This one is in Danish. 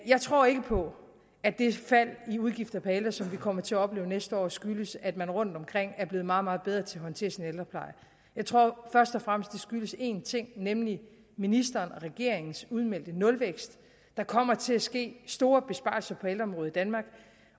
jeg tror ikke på at det fald i udgiften per ældre som vi kommer til at opleve næste år skyldes at man rundtomkring er blive meget meget bedre til at håndtere sin ældrepleje jeg tror først og fremmest skyldes en ting nemlig ministeren og regeringens udmeldte nulvækst der kommer til at ske store besparelser på ældreområdet i danmark